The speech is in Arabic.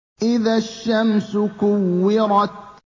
إِذَا الشَّمْسُ كُوِّرَتْ